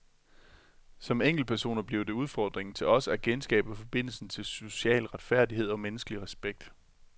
Som enkeltpersoner bliver det udfordringen til os at genskabe forbindelsen til social retfærdighed og menneskelig respekt.